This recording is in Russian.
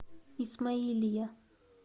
исмаилия